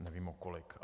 nevím o kolik.